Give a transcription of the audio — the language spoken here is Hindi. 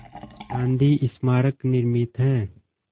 गांधी स्मारक निर्मित है